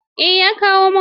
Eh, ya kawo min.